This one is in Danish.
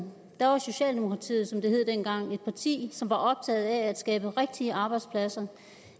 var socialdemokratiet som det hed dengang et parti som var optaget af at skabe rigtige arbejdspladser